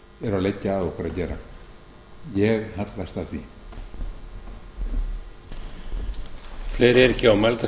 eru að leggja að okkur að gera ég hallast að því